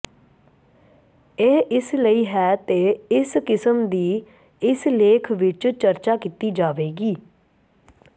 ਇਹ ਇਸ ਲਈ ਹੈ ਤੇ ਇਸ ਕਿਸਮ ਦੀ ਇਸ ਲੇਖ ਵਿਚ ਚਰਚਾ ਕੀਤੀ ਜਾਵੇਗੀ